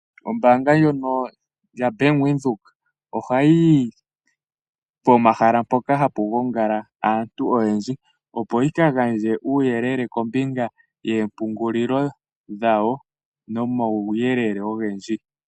Ombanga ndyono yabank windheok oha yi yi pomahala mpoka hapu gongala aantu oyendji opo yi ka gandje uuyelele kombinga yoombungulilo.